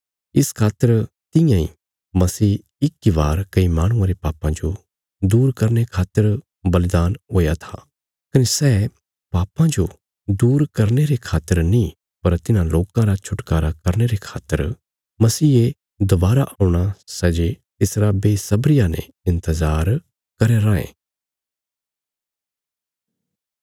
इस खातर तियां इ मसीह इक इ बार कई माहणुआं रे पापां जो दूर करने खातर बलिदान हुया था कने सै पापां जो दूर करने रे खातर नीं पर तिन्हां लोकां रा छुटकारा करने रे खातर मसीहे दोवारा औणा सै जे तिसरा बेसब्रिया ने इन्तजार करया राँये